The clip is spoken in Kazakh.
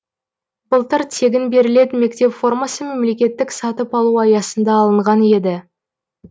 былтыр тегін берілетін мектеп формасы мемлекеттік сатып алу аясында алынған еді